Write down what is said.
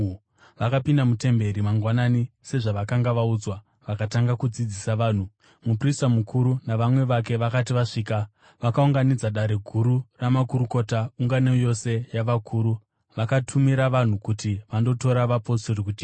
Vakapinda mutemberi mangwanani, sezvavakanga vaudzwa, vakatanga kudzidzisa vanhu. Muprista mukuru navamwe vake vakati vasvika, vakaunganidza Dare Guru ramakurukota, ungano yose yavakuru, vakatumira vanhu kuti vandotora vapostori kujeri.